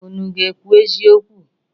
Unu ga-ekwu eziokwu?